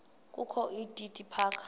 kokho udidi phaka